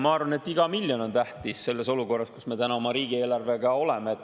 Ma arvan, et iga miljon on tähtis selles olukorras, kus me täna oma riigieelarvega oleme.